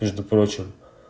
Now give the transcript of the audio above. между прочим